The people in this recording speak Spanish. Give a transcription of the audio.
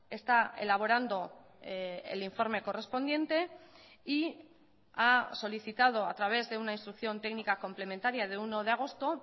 está elaborando el informe correspondiente y ha solicitado a través de una instrucción técnica complementaria de uno de agosto